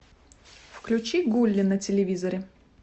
включи гулли на телевизоре